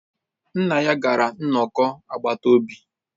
Nna ya gara nnọkọ agbata obi